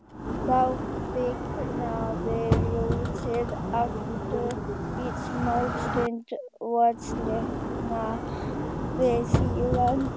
Þá kviknaði ljósið aftur í smástund og slökknaði síðan.